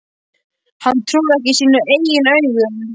Hann trúði ekki sínum eigin augum.